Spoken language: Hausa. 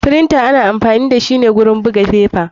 Firinta ana amfani dashi a buga fefa.